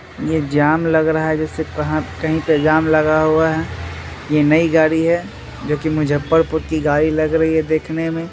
ये जाम लग रहा है जैसे कहीं पे जाम लगा हुआ है। ये नई गाड़ी है जो की मुज्जफरपुर की गाड़ी लग रही है देखने में।